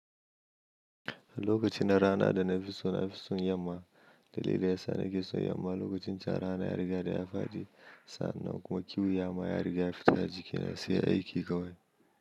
Lokacin na rana da na fi son na fi son yamma. Dalili yasa nake son yamma lokacin can rana ya riga ya faɗi sannan kuma kiwo ya ma ya riga ya fita jikina sai aiki kawai.